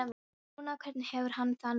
En núna, hvernig hefur hann það núna?